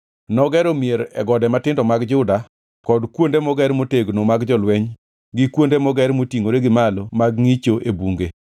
Nogero mier e gode matindo mag Juda kod kuonde moger motegno mag jolweny gi kuonde moger motingʼore gi malo mag ngʼicho e bunge.